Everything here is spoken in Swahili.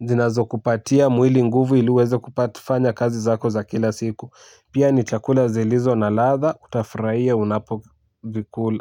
Zinazokupatia mwili nguvu ili uweze kupat fanya kazi zako za kila siku. Pia, ni chakula zilizo na latha utafuraia unapo vikul.